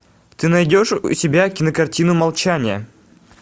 ты найдешь у себя кинокартину молчание